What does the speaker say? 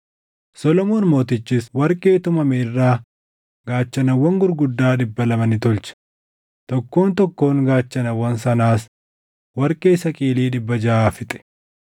Solomoon Mootichis warqee tumame irraa gaachanawwan gurguddaa dhibba lama ni tolche; tokkoon tokkoon gaachanawwan sanaas warqee saqilii dhibba jaʼa fixe.